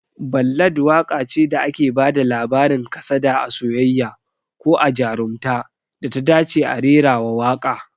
Ballad waƙa ce da ake bada labarin kasada a soyayya, ko a jarumta, da ta dace a rerawa waƙa